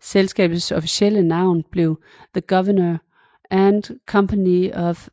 Selskabets officielle navn blev The Governor and Company of